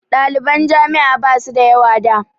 Ɗaliban jami'a ba su da yawa da.